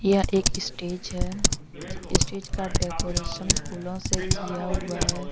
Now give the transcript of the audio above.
एक स्टेज है स्टेज का डेकोरेशन फूलों से किया हुआ है।